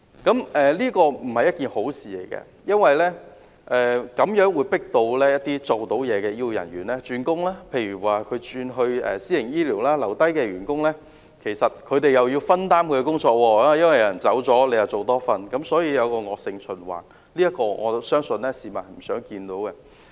這並非好事，因為這會迫使一些有表現的醫護人員轉工，例如轉投私營醫療系統，而留下來的員工因為有同事離職，便要分擔他原來的工作，形成惡性循環，我相信這情況是市民不願看到的。